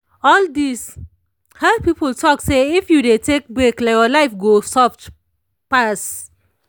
all this health people talk say if you dey take break your life go soft pass.